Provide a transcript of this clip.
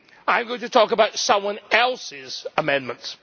I am going to talk about someone else's amendments.